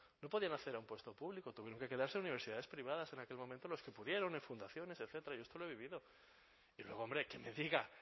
no podían acceder a un puesto público tuvieron que quedarse en universidades privadas en aquel momento los que pudieron en fundaciones etcétera yo es que lo he vivido y luego hombre que me diga